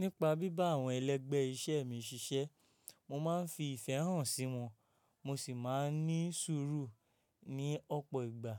Nípa bíbá àwọn ẹlẹ́gbẹ́ iṣẹ́ mi ṣiṣẹ́, mo máa ń fi ìfẹ́ hàn sí wọn, mo sì máa ń ní sùúrù ní ọ̀pọ̀ ìgbà.